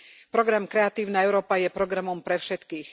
Program Kreatívna Európa je programom pre všetkých.